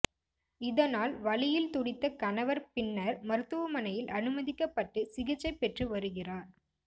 இதனால் வலியில் துடித்த கணவர் பின்னர் மருத்துவமனையில் அனுமதிக்கப்பட்டு சிகிச்சை பெற்று வருகிறார்